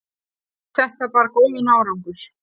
þetta bar góðan árangur